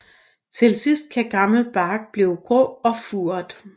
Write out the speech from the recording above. Til sidst kan gammel bark blive grå og furet